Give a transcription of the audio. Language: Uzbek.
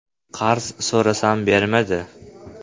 Qarz so‘rasam, bermadi.